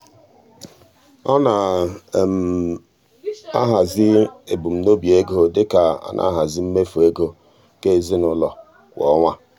ọ na-enyocha ebumnobi ego dị ka ọ na-ahazi mmefu ego nke ezinụụlọ kwa ọnwa.